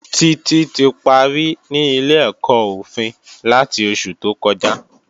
Títí ti parí ní ilé-ẹ̀kọ́ òfin láti oṣù tó kọjá